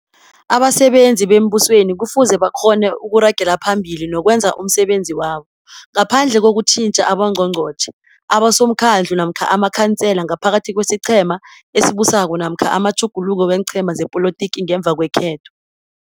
Abasebenzi bembusweni kufuze bakghone ukuragela phambili nokwenza umsebenzi wabo ngaphandle kokutjintja aboNgqongnqotjhe, aboSomkhandlu namkha amaKhansela ngaphakathi kwesiqhema esibusako namkha amatjhuguluko weenqhema zepolotiki ngemva kwekhetho.